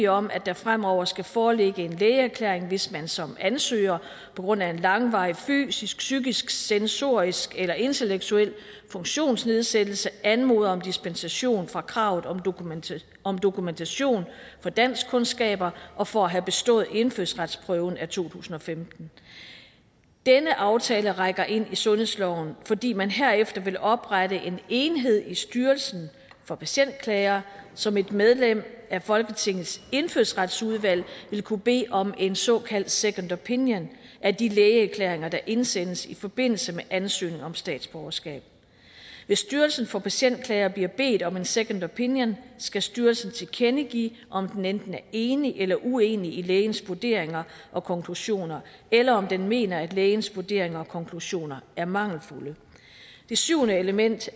om at der fremover skal foreligge en lægeerklæring hvis man som ansøger på grund af langvarig fysisk psykisk sensorisk eller intellektuel funktionsnedsættelse anmoder om dispensation fra kravet om dokumentation om dokumentation for danskkundskaber og for at have bestået indfødsretsprøven af to tusind og femten denne aftale rækker ind i sundhedsloven fordi man herefter vil oprette en enhed i styrelsen for patientklager som et medlem af folketingets indfødsretsudvalg vil kunne bede om en såkaldt second opinion af de lægeerklæringer der indsendes i forbindelse med ansøgning om statsborgerskab hvis styrelsen for patientklager bliver bedt om en second opinion skal styrelsen tilkendegive om den enten er enig eller uenig i lægens vurderinger og konklusioner eller om den mener at lægens vurderinger og konklusioner er mangelfulde det syvende element